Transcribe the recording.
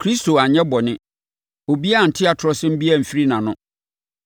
“Kristo anyɛ bɔne. Obiara ante atorɔsɛm biara amfiri nʼano.”